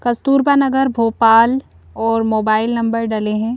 कस्तूरपा नगर भोपाल और mobile number डले है।